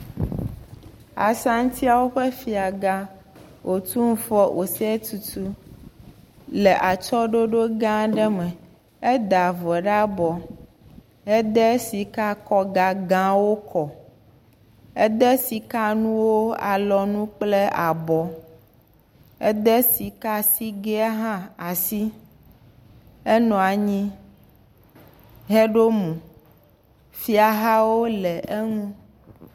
Asantiawo ƒe Fiagã, Otumfuo Osei Tutu le atsyɔ̃ɖoɖoga aɖe me, eda vɔ ɖe abɔ. Ede sikakɔgagãwo kɔ. Ede sikanuwo alɔnu kple abɔ, ede sikasigɛ hã asi. Enɔ anyi heɖo mo. Fiahawo le eŋu.